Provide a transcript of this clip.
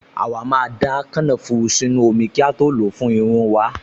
Àwa máa da kànáfùrù sínú omi kí a tó lò ó fún irun wa